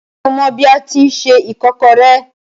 Ṣé o mọ bi a tíi se ìkọ́kọrẹ́?